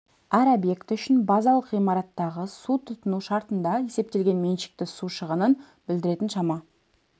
әр объекті үшін базалық ғимараттағы су тұтыну шартында есептелген меншікті су шығынын білдіретін шама